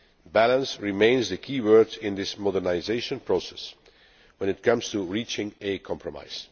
Balance remains the key word in this modernisation process when it comes to reaching a compromise.